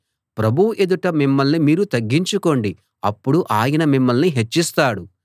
ప్రభువు ఎదుట మిమ్మల్ని మీరు తగ్గించుకోండి అప్పుడు ఆయన మిమ్మల్ని హెచ్చిస్తాడు